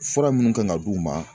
Fura minnu kan ka d'u ma.